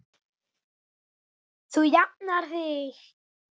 Þú jafnar þig.